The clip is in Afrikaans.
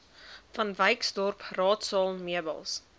vanwyksdorp raadsaal meubels